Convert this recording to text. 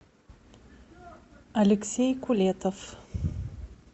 алексей кулетов